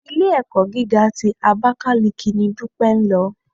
Ilé-ẹ̀kọ́ gíga ti Abakaliki ni Dúpẹ́ lọ.